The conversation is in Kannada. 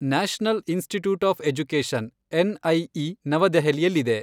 National institute of education NIE ನವದೆಹಲಿಯಲ್ಲಿದೆ.